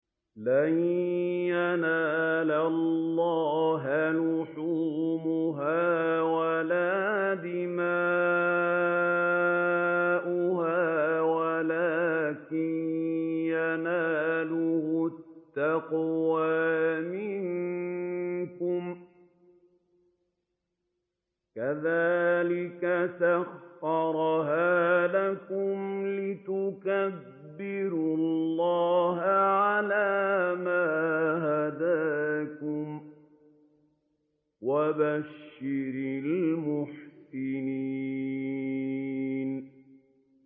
لَن يَنَالَ اللَّهَ لُحُومُهَا وَلَا دِمَاؤُهَا وَلَٰكِن يَنَالُهُ التَّقْوَىٰ مِنكُمْ ۚ كَذَٰلِكَ سَخَّرَهَا لَكُمْ لِتُكَبِّرُوا اللَّهَ عَلَىٰ مَا هَدَاكُمْ ۗ وَبَشِّرِ الْمُحْسِنِينَ